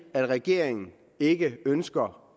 at regeringen ikke ønsker